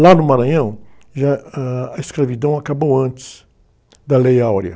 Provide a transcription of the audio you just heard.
Lá no Maranhão, já, a, ãh, escravidão acabou antes da Lei Áurea.